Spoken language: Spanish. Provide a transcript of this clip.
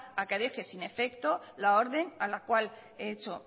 a que deje sin efecto la orden a la cual he hecho